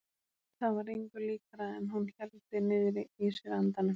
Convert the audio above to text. Það var engu líkara en hún héldi niðri í sér andanum.